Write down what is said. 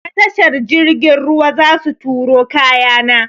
Ta tashar jirgin ruwa zasu turo kaya na.